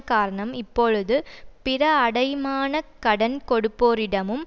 காரணம் இப்பொழுது பிற அடைமான கடன் கொடுப்போரிடமும்